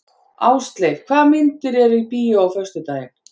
Ásleif, hvaða myndir eru í bíó á föstudaginn?